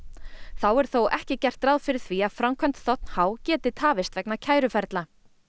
þá er þó ekki gert ráð fyrir því að framkvæmd þ h geti tafist vegna kæruferla